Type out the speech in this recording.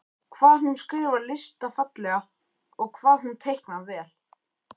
Hvað hún skrifar listafallega og hvað hún teiknar vel.